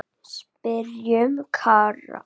Spyrjum Kára.